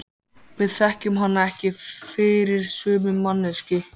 Við þekkjum hana ekki fyrir sömu manneskju.